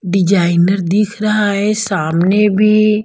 designer दिख रहा है सामने भी--